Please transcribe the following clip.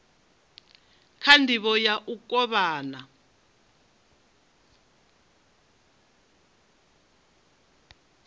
kha ndivho ya u kovhana